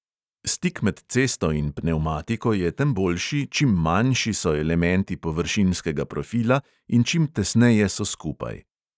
Stik med cesto in pnevmatiko je tem boljši, čim manjši so elementi površinskega profila in čim tesneje so skupaj.